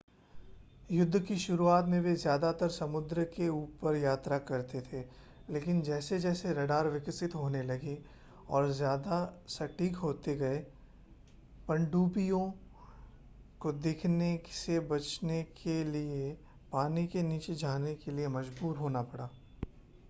युद्ध की शुरुआत में वे ज़्यादातर समुद्र के ऊपर यात्रा करते थे लेकिन जैसे-जैसे रडार विकसित होने लगे और ज़्यादा सटीक होते गए पनडुब्बियों को दिखने से बचने के लिए पानी के नीचे जाने के लिए मज़बूर होना पड़ा